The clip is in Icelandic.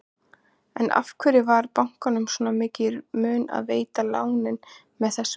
En af hverju var bankanum svona mikið í mun að veita lánin með þessum hætti?